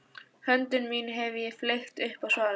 Höndum mínum hef ég fleygt upp á svalir.